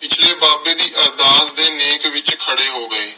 ਪਿਛਲੇ ਬਾਬੇ ਦੀ ਅਰਦਾਸ ਦੇ ਨੇਕ ਵਿਚ ਖੜੇ ਹੋ ਗਏ।